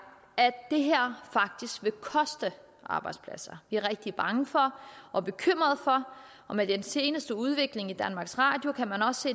at det her faktisk vil koste arbejdspladser vi er rigtig bange for og bekymrede for og med den seneste udvikling i danmarks radio kan man også